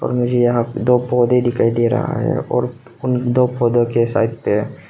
और मुझे यहां दो पौधों दिखाई दे रहा है और उन दो पौधों के साइड पे--